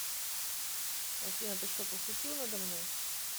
афина ты что пошутил надо мной